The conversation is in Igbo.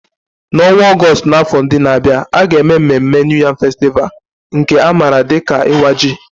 N'ọnwa Ọgọst n'afọ ndị na-abịa, a ga-eme mmemme New Yam Festival, nke a maara dị ka Iwa Ji.